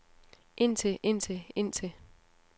indtil indtil indtil